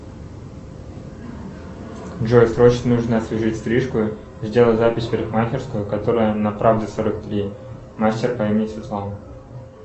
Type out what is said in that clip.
джой срочно нужно освежить стрижку сделай запись в парикмахерскую которая на правде сорок три мастер по имени светлана